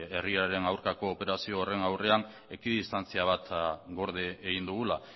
herriraren aurkako operazio horren aurrean ekidistantzia bat gorde egin dugula